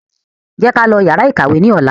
Jẹ́ ká lọ yàrá ìkàwé ní ọ̀la